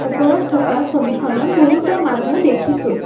ওপৰত থকা ছবিখনত বহুতো মানুহ দেখিছোঁ।